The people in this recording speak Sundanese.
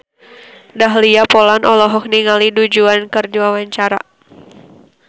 Dahlia Poland olohok ningali Du Juan keur diwawancara